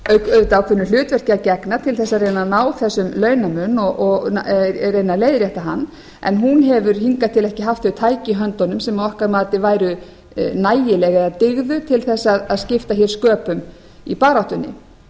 auðvitað ákveðnu hlutverki að gegna til að reyna að ná þessum launamun og reyna að leiðrétta hann en hún hefur hingað til ekki haft þau tæki í höndunum sem að okkar mati væru nægileg eða dygðu til að skipta sköpum í baráttunni það